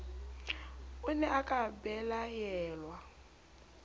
o ne a ka bellaellwa